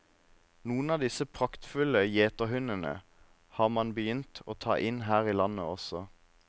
Noen av disse praktfulle gjeterhundene har man begynt å ta inn her i landet også.